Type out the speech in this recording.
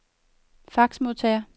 faxmodtager